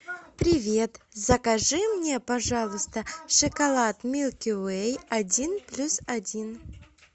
привет закажи мне пожалуйста шоколад милки вей один плюс один